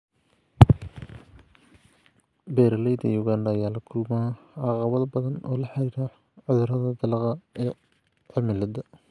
Beeraleyda Uganda ayaa la kulma caqabado badan oo la xiriira cudurrada dalagga iyo cimilada.